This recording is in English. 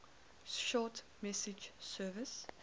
short message service